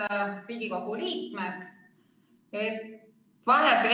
Head Riigikogu liikmed!